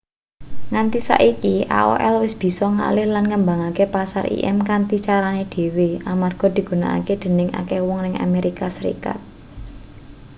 nganti saiki aol wis bisa ngalih lan ngembangke pasar im kanthi carane dhewe amarga digunakake dening akeh wong ning amerika serikat